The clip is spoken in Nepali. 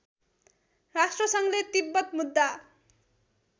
राष्ट्रसङ्घले तिब्बत मुद्दा